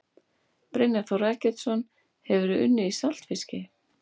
Brynjar Þór Eggertsson Hefurðu unnið í saltfiski?